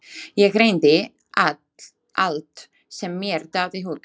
Ég reyndi allt sem mér datt í hug.